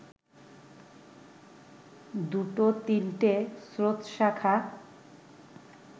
দুটো-তিনটে স্রোতশাখা